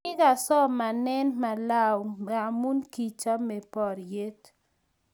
kikasomaene malawi ngamun kichame poryet